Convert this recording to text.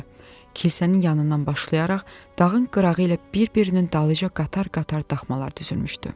Kilsənin yanından başlayaraq dağın qırağı ilə bir-birinin dalınca qatar-qatar taxmalar düzülmüşdü.